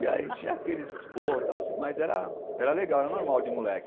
E aí tinha aqueles esporros, tal mas era legal, era normal de moleque.